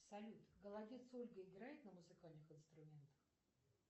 салют голодец ольга играет на музыкальных инструментах